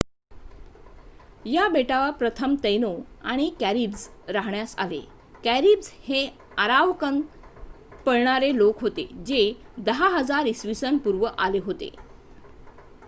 या बेटावर प्रथम तैनो आणि कॅरीब्स राहण्यास आले. कॅरीब्स हे आरावाकन पळणारे लोक होते जे 10,000 इ.स.पु. आले होते